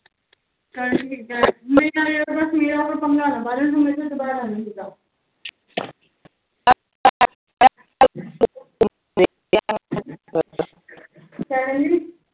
ਕਿਆ ਕਹਿੰਦੀ